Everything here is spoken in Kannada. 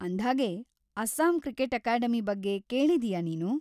ಅಂದ್ಹಾಗೆ, ಅಸ್ಸಾಂ ಕ್ರಿಕೆಟ್‌ ಅಕಾಡೆಮಿ ಬಗ್ಗೆ ಕೇಳಿದೀಯಾ ನೀನು?